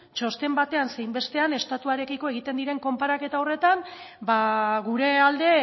txosten batean zein bestean estatuarekiko egiten diren konparaketa horretan ba gure alde